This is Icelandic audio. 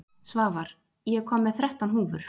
Svavar, ég kom með þrettán húfur!